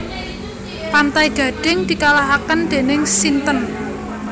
Pantai Gading dikalahaken dening sinten